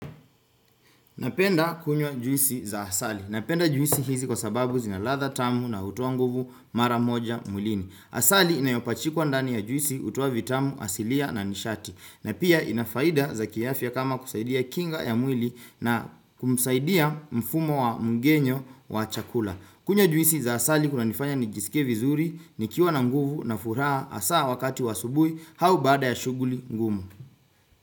Napenda kunywa juisi za asali. Napenda juisi hizi kwa sababu zina ladha tamu na utoa nguvu mara moja mwlini. Asali inayopachikwa ndani ya juisi utoa vitamu asilia na nishati. Na pia inafaida za kiafia kama kusaidia kinga ya mwili na kumsaidia mfumo wa mgenyo wa chakula. Kunywa juisi za asali kunanifanya nijisikie vizuri, nikiwa na nguvu na furaha asaa wakati wa asubui, hau baada ya shuguli ngumu.